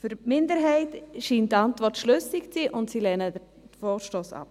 Für die Minderheit scheint die Antwort schlüssig zu sein, und sie lehnt den Vorstoss ab.